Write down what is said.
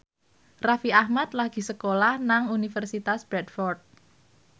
Raffi Ahmad lagi sekolah nang Universitas Bradford